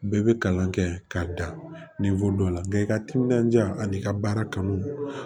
Bɛɛ bɛ kalan kɛ k'a da dɔ la nka i ka timinandiya ani i ka baara kanu